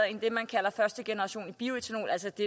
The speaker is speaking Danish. end det man kalder første generation af bioætanol altså det